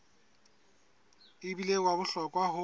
e bile wa bohlokwa ho